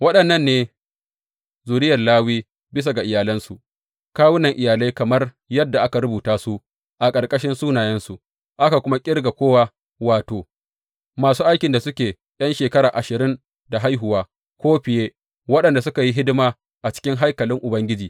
Waɗannan ne zuriyar Lawi bisa ga iyalansu, kawunan iyalai kamar yadda aka rubuta su a ƙarƙashin sunayensu aka kuma ƙirga kowa, wato, masu aikin da suke ’yan shekara ashirin da haihuwa ko fiye waɗanda suka yi hidima a cikin haikalin Ubangiji.